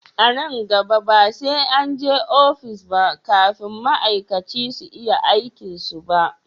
A nan gaba ba sai an je ofis ba kafin ma'aikaci su iya aikin su ba